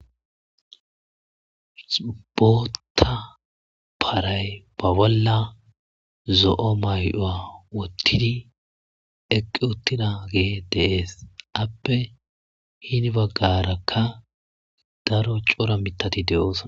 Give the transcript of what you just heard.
Botha barayi ba bolla zo,o mayo wotidi eqiwutidage de,ees appe hini bagaraka daro co,ra mithati de, osona